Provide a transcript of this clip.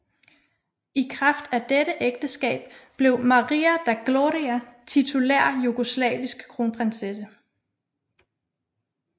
I kraft af dette ægteskab blev Maria da Glória titulær jugoslavisk kronprinsesse